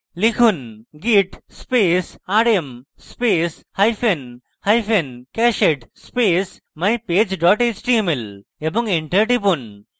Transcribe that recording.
লিখুন: git space rm space hyphen hyphen cached space mypage dot html এবং enter টিপুন